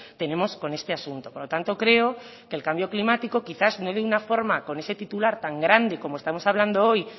tenemos con este asunto por lo tanto creo que el cambio climático quizás no de una forma con ese titular tan grande como estamos hablando hoy